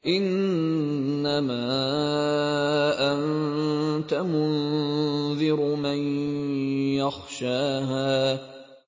إِنَّمَا أَنتَ مُنذِرُ مَن يَخْشَاهَا